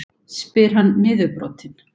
spyr hann niðurbrotinn.